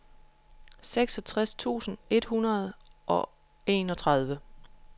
seksogtres tusind et hundrede og enogtredive